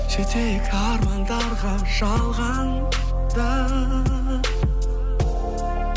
жетейік армандарға жалғанда